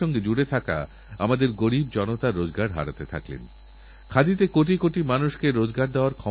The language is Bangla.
যদি আমরা গবেষণা ও আবিষ্কার বাদ দিয়ে পুরনো প্রযুক্তিকে আঁকড়ে ধরেথাকি তাহলে আমরা এই বিশ্বের পরিবর্তনশীল যুগের বাইরে পড়ে থাকব